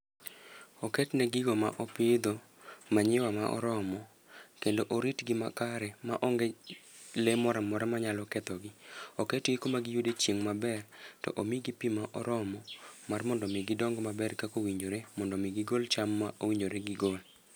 Oketne gigo ma opidho manyiwa ma oromo, kendo oritgi ma kare ma onge le moramora ma yalo ketho gi. Oketgi kuma giyude chieng' maber, to omigi pi ma oromo mar mondo mi gidong maber kakowinjore. Mondo mi gigol cham ma owinjore gigol.